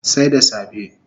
Sai da safe